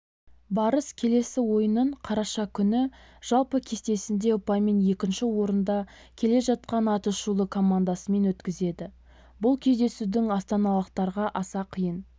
барыс келесі ойынын қараша күні жалпы кестесінде ұпаймен екінші орында келе жатқан аты шулы командасымен өткізеді бұл кездесудің астаналықтарға аса қиын